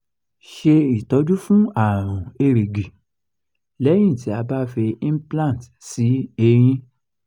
ṣe itọju fún àrùn erigi lẹ́yìn ti a ba fi implant si eyín